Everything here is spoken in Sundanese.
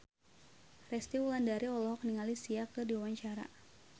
Resty Wulandari olohok ningali Sia keur diwawancara